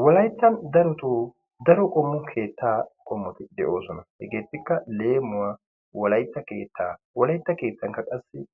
Wolayttan daroto daro qommo keettaa qommoti de'oosona. Hegeettikka leemuwaa wolaytta keettaa wolaytta keettankka qassi